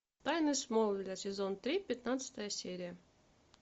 тайны смолвилля сезон три пятнадцатая серия